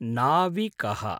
नाविकः